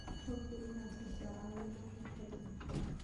Hubi inaad hesho caawimo xirfad leh.